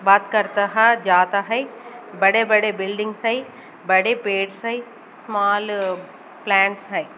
बात करता है जाता है बड़े बड़े बिल्डिंग्स हई बड़े पेड़ हई स्मॉल प्लांट्स हई।